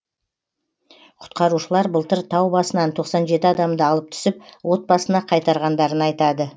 құтқарушылар былтыр тау басынан тоқсан жеті адамды алып түсіп отбасына қайтарғандарын айтады